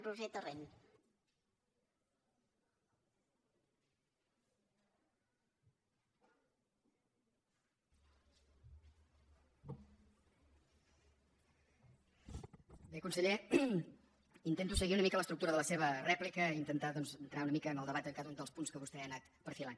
bé conseller intento seguir una mica l’estructura de la seva rèplica i intentar doncs entrar un mica en el debat de cada un dels punts que vostè ha anat perfilant